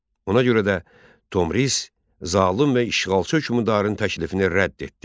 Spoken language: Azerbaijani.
Ona görə də Tomris zalım və işğalçı hökmdarın təklifini rədd etdi.